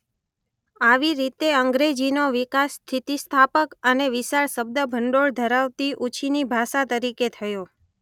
આવી રીતે અંગ્રેજીનો વિકાસ સ્થિતિસ્થાપક અને વિશાળ શબ્દભંડોળ ધરાવતી ઉછીની ભાષા તરીકે થયો.